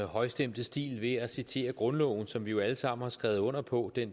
højstemte stil ved at citere grundloven som vi jo alle sammen har skrevet under på